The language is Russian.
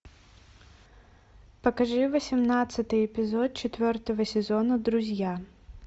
покажи восемнадцатый эпизод четвертого сезона друзья